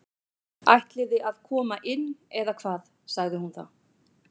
Ætliði að koma inn eða hvað sagði hún þá.